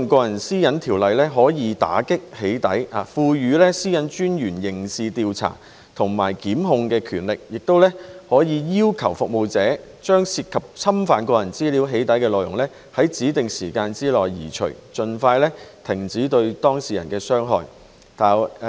今次的《條例草案》可以打擊"起底"行為，賦予個人資料私隱專員刑事調查及檢控的權力，可以要求服務提供者將涉及侵犯個人資料的"起底"內容，在指定時間內移除，盡快停止對當事人的傷害。